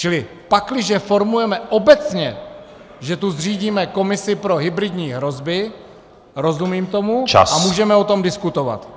Čili pakliže formujeme obecně, že tu zřídíme komisi pro hybridní hrozby, rozumím tomu a můžeme o tom diskutovat.